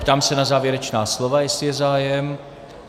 Ptám se na závěrečná slova, jestli je zájem.